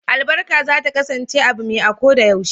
Albarka za ta kasance abu me a ko da yaushe.